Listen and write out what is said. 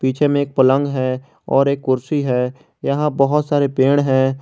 पीछे में एक पलंग है और एक कुर्सी है यहां बहुत सारे पेड़ है।